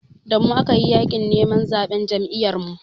Da mu aka yi yaƙin neman zaɓen Jam'iyyarmu.